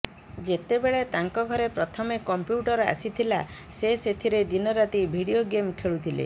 ଯେତେବେଳେ ତାଙ୍କ ଘରେ ପ୍ରଥମେ କମ୍ପ୍ୟୁଟର ଆସିଥିଲା ସେ ସେଥିରେ ଦିନରାତି ଭିଡିଓ ଗେମ୍ ଖେଳୁଥିଲେ